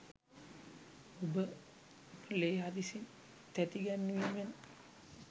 ඔබ ලේ හදිසි තැති ගැන්වීමෙන්